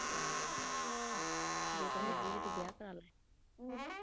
ਕਿਆ ਬਾਤ ਐਂ ਜੇ ਤਾਂ ਹੈਗੀ ਵੀ ਤੂੰ ਵਿਆਹ ਕਰਾ ਲੈ।